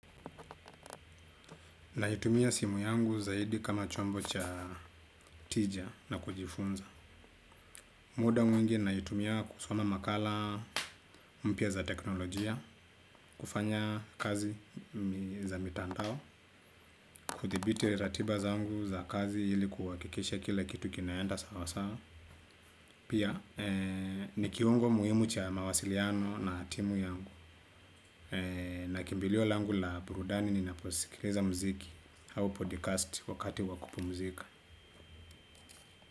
Naitumia simu yangu zaidi kama chombo cha tija na kujifunza muda mwingi naitumia kusoma makala mpya za teknolojia, kufanya kazi za mitandao, kuthibiti ratiba zangu za kazi ili kuhakikisha kila kitu kinaenda sawa sawa. Pia, ni kiungo muhimu cha mawasiliano na timu yangu. Na kimbilio langu la burudani ninaposikiliza muziki au podcast wakati wa kupumzika.